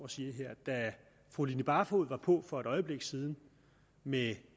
og siger da fru line barfod var på for et øjeblik siden med